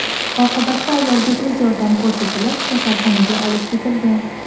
Oqibatda ayolga tez yordam ko‘rsatilib, kasalxonaga olib ketilgan.